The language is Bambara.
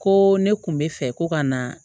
Ko ne kun bɛ fɛ ko ka na